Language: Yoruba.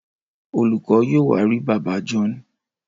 Olùkó yóò wá rí bàbá John.